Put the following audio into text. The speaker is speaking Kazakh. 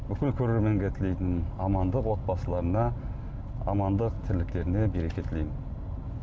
бүкіл көрерменге тілейтінім амандық отбасыларына амандық тірліктеріне береке тілеймін